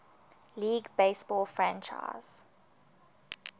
league baseball franchise